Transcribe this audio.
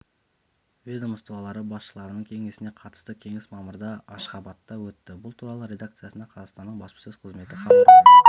ведомстволары басшыларының кеңесіне қатысты кеңес мамырда ашғабатта өтті бұл туралы редакциясына қазақстанның баспасөз қызметі хабарлады